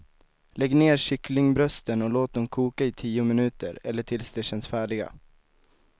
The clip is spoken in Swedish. Lägg ner kycklingbrösten och låt dem koka i tio minuter eller tills de känns färdiga.